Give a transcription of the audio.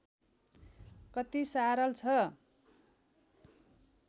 कति सारल छ